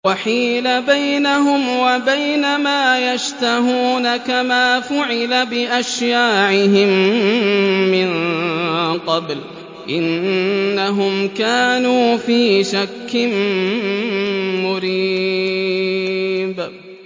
وَحِيلَ بَيْنَهُمْ وَبَيْنَ مَا يَشْتَهُونَ كَمَا فُعِلَ بِأَشْيَاعِهِم مِّن قَبْلُ ۚ إِنَّهُمْ كَانُوا فِي شَكٍّ مُّرِيبٍ